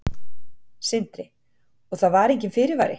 Sindri: Og það var enginn fyrirvari?